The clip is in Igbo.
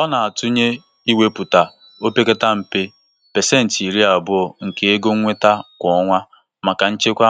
A na-agba ndị m hụrụ n'anya ume ka ha mee ya ihe mkpa iwepụta ego mberede maka nkwụsike